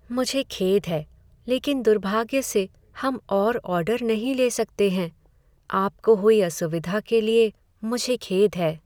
मुझे खेद है, लेकिन दुर्भाग्य से, हम और ऑर्डर नहीं ले सकते हैं। आपको हुई असुविधा के लिए मुझे खेद है।